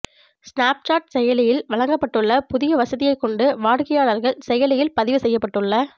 Snapchat செயலியில் வழங்கப்பட்டுள்ள புதிய வசதியை கொண்டு வாடிக்கையாளர்கள் செயலியில் பதிவு செய்யப்பட்டுள்ள